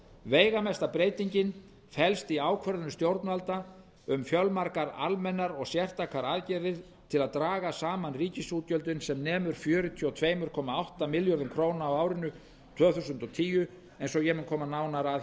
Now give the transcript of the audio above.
veigamesta breytingin felst í ákvörðunum stjórnvalda um fjölmargar almennar og sértækar aðgerðir til að draga saman ríkisútgjöldin sem nemur fjörutíu og tvö komma átta milljörðum króna á árinu tvö þúsund og tíu eins og ég mun koma nánar að